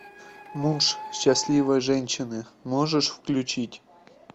муж счастливой женщины можешь включить